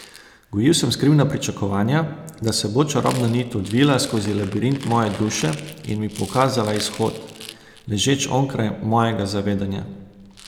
Gojil sem skrivna pričakovanja, da se bo čarobna nit odvila skozi labirint moje duše in mi pokazala izhod, ležeč onkraj mojega zavedanja.